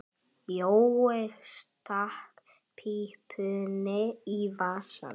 Jói stakk pípunni í vasann.